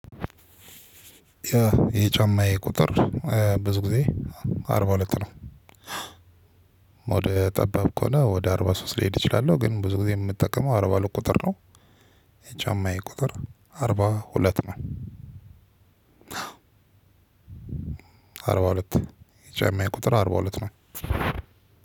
የጫማየ ቁጥር ብዙ ጊዜ አርባ ሁለት ነው። ጠባብ ከሆነ ወደ አርባ ሶስት ልሄድ እችላለሁ። ግን ብዙ ጊዜ የምጠቀመው አርባ ሁለት ቁጥር ነው ጫማዬ ቁጥር አርባ ሁለት ነው። አርባ ሁለት የጫማዬ ቁጥር አርባ ሁለት ነው